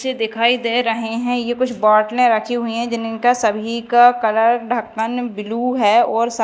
मुझे दिखाई दे रहे हैं ये कुछ बॉटले रखी हुई है जिनका सभी का कलर ढक्कन ब्लू है और--